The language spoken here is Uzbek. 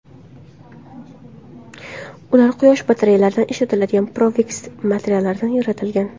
Ular quyosh batareyalarida ishlatiladigan perovskit materiallaridan yaratilgan.